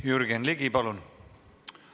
Jürgen Ligi, palun!